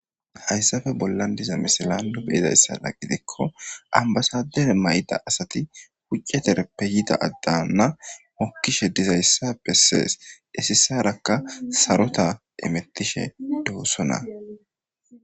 Hayssafe bollan diza misilano beyzayssada gidikko ambasadere may7da asati puccetereppe yida addanna mokkishe dizayssappe sees desissarakka sarota emettishe doosona.